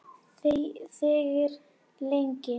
Þegir lengi.